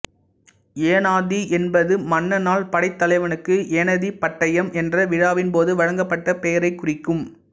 ஏனாதி என்பது மன்னனால் படைத்தலைவனுக்கு ஏனடிப்பட்டயம் என்ற விழாவின்போது வழங்கப்பட்ட பெயரைக் குறிக்கும்